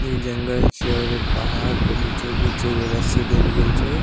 इ जंगल छिये और इ पहाड़ के बीचो-बीच एगो रस्सी देल गेल छै।